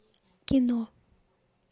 кино